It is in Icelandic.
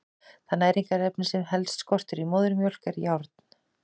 Það næringarefni sem helst skortir í móðurmjólk er járn.